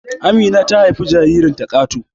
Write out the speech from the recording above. Amina ta haifi jaririnta Kato